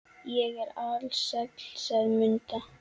Ég er alsæl, sagði Munda.